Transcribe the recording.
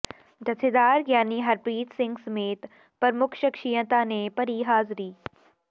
ਜਥੇਦਾਰ ਗਿਆਨੀ ਹਰਪ੍ਰੀਤ ਸਿੰਘ ਸਮੇਤ ਪ੍ਰਮੁੱਖ ਸ਼ਖ਼ਸੀਅਤਾਂ ਨੇ ਭਰੀ ਹਾਜ਼ਰੀ